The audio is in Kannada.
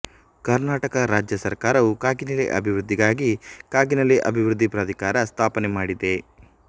ಕರ್ನಾಟಕ ರಾಜ್ಯ ಸರ್ಕಾರವು ಕಾಗಿನೆಲೆ ಅಭಿವೃದ್ದಿಗಾಗಿ ಕಾಗಿನೆಲೆ ಅಭಿವೃದ್ದಿ ಪ್ರಾಧಿಕಾರ ಸ್ಥಾಪನೆ ಮಾಡಿದೆ